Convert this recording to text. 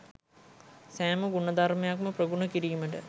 සෑම ගුණධර්මයක්ම ප්‍රගුණ කිරීමට